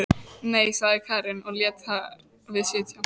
Nei, sagði Karen og lét þar við sitja.